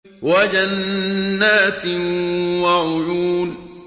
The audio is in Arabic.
وَجَنَّاتٍ وَعُيُونٍ